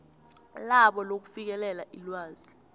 labo lokufikelela ilwazi